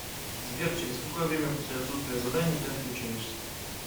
сбер через какое время после отсутствия заданий ты отключаешься